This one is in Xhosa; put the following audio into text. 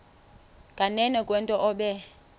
nganeno kwento obe